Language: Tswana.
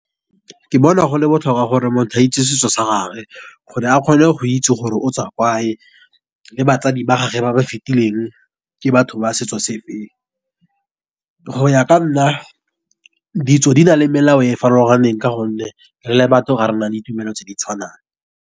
Ke bona go le botlhokwa gore motho a itse setso sa gage, gore a kgone go itse gore o tswa kae, le batsadi ba gagwe ba ba fetileng ke batho ba setso se feng. Go ya ka nna ditso di na le melao e e farologaneng, ka gonne re le batho ga rena ditumelo tse di tshwanang.